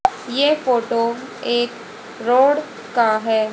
ये फोटो एक रोड का है।